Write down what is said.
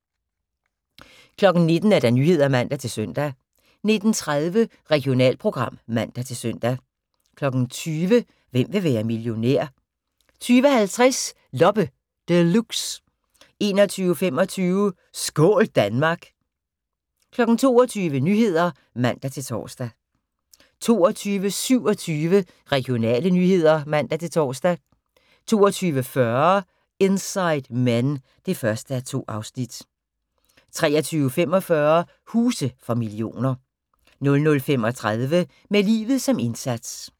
19:00: Nyhederne (man-søn) 19:30: Regionalprogram (man-søn) 20:00: Hvem vil være millionær? 20:50: Loppe Deluxe 21:25: Skål Danmark! 22:00: Nyhederne (man-tor) 22:27: Regionale nyheder (man-tor) 22:40: Inside Men (1:2) 23:45: Huse for millioner 00:35: Med livet som indsats